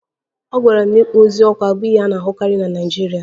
Agwara m na ịkpọ ozu ọkụ abụghị ihe a na-ahụkarị na Naịjirịa